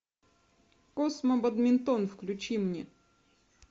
космо бадминтон включи мне